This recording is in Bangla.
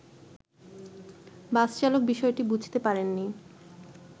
বাসচালক বিষয়টি বুঝতে পারেনি